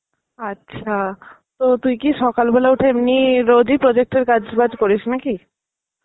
আচ্ছা. তো তুই কি সকাল বেলায় উঠে এমনই রোজই project এর কাজ ফাজ করিস না কি?